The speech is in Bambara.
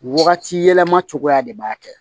Wagati yɛlɛma cogoya de b'a kɛ